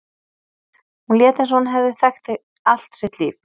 Hún lét eins og hún hefði þekkt þig allt sitt líf.